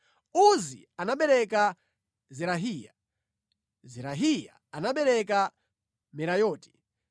Uzi anabereka Zerahiya, Zerahiya anabereka Merayoti,